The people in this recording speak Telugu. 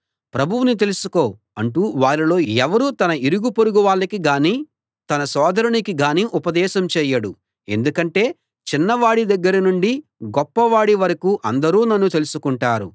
ప్రభువును తెలుసుకో అంటూ వారిలో ఎవడూ తన ఇరుగు పొరుగు వాళ్లకి గానీ తన సోదరునికి గానీ ఉపదేశం చేయడు ఎందుకంటే చిన్నవాడి దగ్గర నుండి గొప్పవాడి వరకూ అందరూ నన్ను తెలుసుకుంటారు